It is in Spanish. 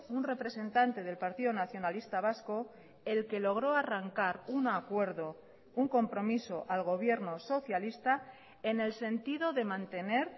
un representante del partido nacionalista vasco el que logró arrancar un acuerdo un compromiso al gobierno socialista en el sentido de mantener